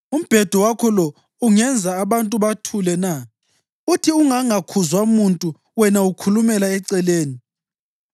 Umbhedo wakho lo ungenza abantu bathule na? Uthi ungangakhuzwa muntu wena ukhulumela eceleni?